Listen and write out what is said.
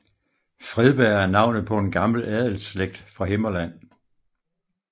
Fredberg er navnet på en gammel adelsslægt fra Himmerland